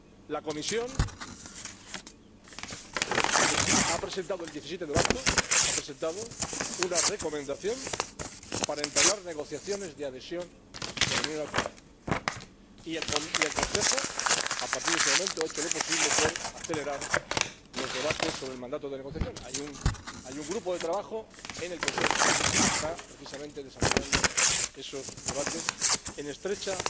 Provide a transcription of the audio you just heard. La Comisión presentó el 17 de marzo una recomendación para entablar negociaciones de adhesión de la Unión al Convenio. Y el Consejo, a partir de ese momento, ha hecho lo posible por acelerar los debates sobre el mandato de negociación. Hay un grupo de trabajo en el Consejo que está, precisamente, desarrollando esos debates en estrecha